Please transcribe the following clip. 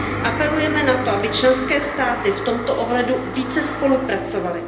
apelujeme na to, aby členské státy v tomto ohledu více spolupracovaly,